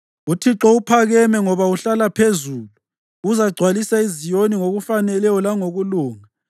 UThixo uphakeme ngoba uhlala phezulu, uzagcwalisa iZiyoni ngokufaneleyo langokulunga.